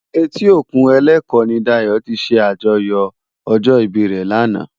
Éti ókún Eleko ni Dayo ti sé ájòyò òjò ibi re làná